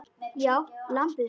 Já, lambið mitt.